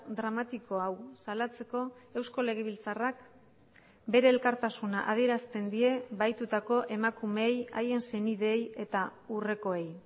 dramatiko hau salatzeko eusko legebiltzarrak bere elkartasuna adierazten die bahitutako emakumeei haien senideei eta urrekoei